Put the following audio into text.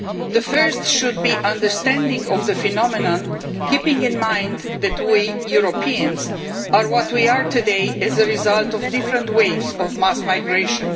The first should be an understanding of the phenomenon, keeping in mind that we Europeans are what we are today as a result of different waves of mass migration.